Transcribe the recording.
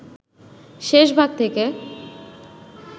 শেষ ভাগ থেকে